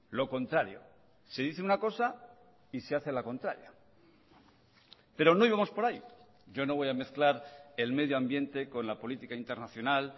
lo contrario se dice una cosa y se hace la contraria pero no íbamos por ahí yo no voy a mezclar el medio ambiente con la política internacional